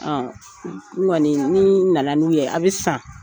n ŋɔni ni nana n'u ye a bɛ san.